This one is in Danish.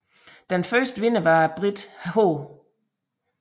Den første vinder var briten H